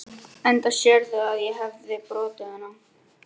Enda sérðu að ég hefi brotið hana.